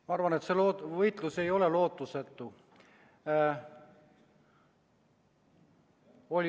Ma arvan, et see võitlus ei ole lootusetu.